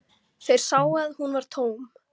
Þeir sáu að hún var tóm.